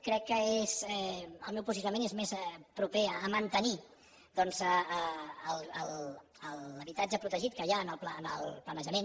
crec que el meu posicionament és més proper a mantenir doncs l’habitatge protegit que hi ha en el planejament